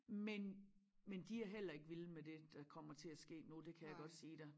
Men men de er heller ikke vilde med det der kommer til at ske nu det kan jeg godt sige dig